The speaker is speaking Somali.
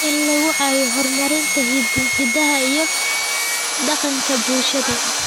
In laga caawiyo horumarinta hiddaha iyo dhaqanka bulshada.